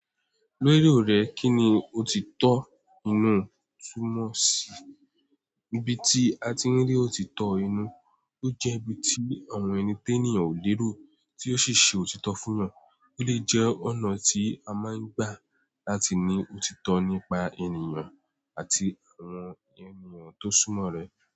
Lérò rò kíni òtítọ́ tú mọ̀ sí ibi tí a ti ń rí òtítọ́ inú, ó jẹ́ ibi tí àwọn ẹni téèníyàn ò lérò tí ó sì ṣe òtítọ́ fún yan, ó dé jẹ́ ọ̀nà tí a máa ń gbà láti ní òtítọ́ nípa ènìyàn àti àwọn ènìyàn tó súnmọ́ rẹ̀.